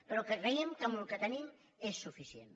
però creiem que amb el que tenim és suficient